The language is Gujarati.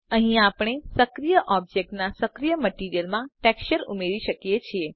અહીં આપણે સક્રિય ઑબ્જેક્ટના સક્રિય મટીરીઅલમાં ટેક્સચર ઉમેરી શકીએ છે